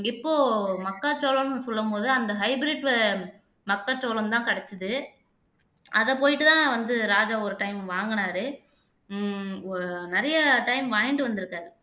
இப்போ மக்காச்சோளம்ன்னு சொல்லும் போது அந்த hybrid மக்காச்சோளம்தான் கிடைச்சுது அதை போயிட்டுதான் வந்து ராஜா ஒரு time வாங்குனாரு உம் நிறைய time வாங்கிட்டு வந்திருக்காரு